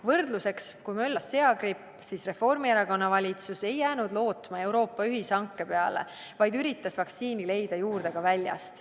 Võrdluseks, kui möllas seagripp, siis Reformierakonna valitsus ei jäänud lootma Euroopa ühishanke peale, vaid üritas vaktsiini leida juurde ka väljast.